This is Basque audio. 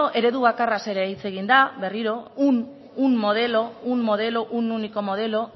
eredu bakarraz ere hitza egin da berriro un modelo un único modelo